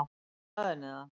Ég sagði henni það.